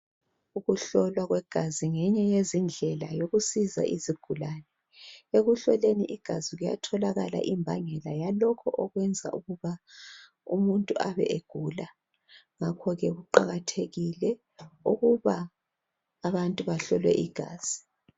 Ukuhlolwa kwegazi ngeyinye yezindlela yokusiza izigulane, ekuhloleni igazi kuyatholakala imbangela yalokho okwenza ukuba umuntu abe egula ngakho ke kuqakathekile ukuba abantu bahlolwe igazi